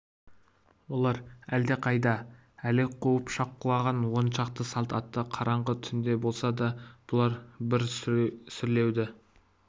олар әлдеқандай әлек қуып шапқылаған он шақты салт атты қараңғы түнде болса да бұлар бір сүрлеуді